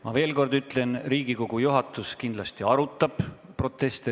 Ma veel kord ütlen, et Riigikogu juhatus kindlasti arutab proteste.